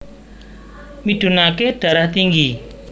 Midunake Darah Tinggi